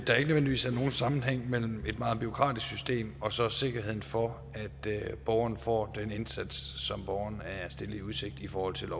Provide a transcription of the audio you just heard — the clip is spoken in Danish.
der ikke nødvendigvis er nogen sammenhæng mellem et meget bureaukratisk system og så sikkerheden for at borgeren får den indsats som borgeren er stillet i udsigt i forhold til